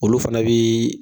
Olu fana bi